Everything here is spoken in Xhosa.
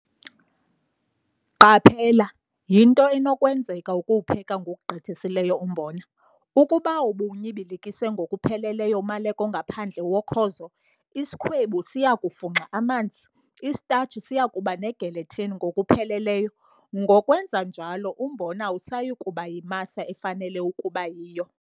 Qaphela- Yinto enokwenzeka ukuwupheka ngokugqithisileyo umbona. Ukuba ubuwunyibilikise ngokupheleleyo umaleko ongaphandle wokhozo, isikhwebu siya kufunxa amanzi, isitashi siya kuba negelatine ngokupheleleyo, ngokwenza njalo umbona awusayi kuba yimasa efanele ukuba yiyo.